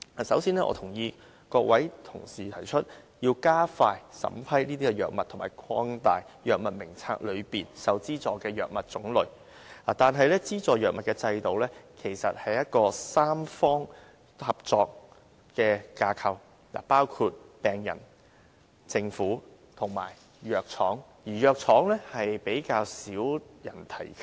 首先，我贊同各位同事提出要加快審批藥物和擴大《藥物名冊》中受資助的藥物種類，但資助藥物的制度其實是一個三方合作的架構，包括病人、政府和藥廠，而藥廠是比較少人提及的。